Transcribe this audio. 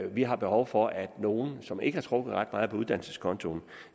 vi har behov for at nogle som ikke har trukket ret meget på uddannelseskontoen